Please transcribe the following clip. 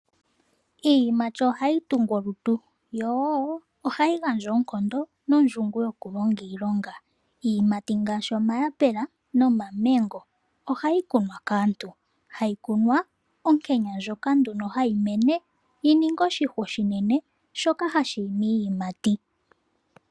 Iiyimati ohayi tungu omalutu, yo wo ohayi gandja oonkondo nondjungu yokulonga iilonga. Iiyimati ngaashi omayapula momamengo, ohayi kunwa kaantu, hayi kunwa onkenya ndjoka nduno hayi mene yininge oshihwa oshinene shoka hashi imi iiyimati.